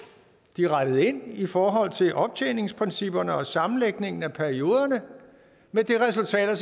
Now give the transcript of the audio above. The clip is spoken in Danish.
de rettede ind i forhold til optjeningsprincipperne og sammenlægningen af perioderne med det resultat at